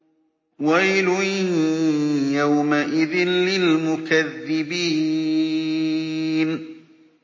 وَيْلٌ يَوْمَئِذٍ لِّلْمُكَذِّبِينَ